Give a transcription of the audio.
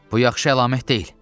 Bu yaxşı əlamət deyil.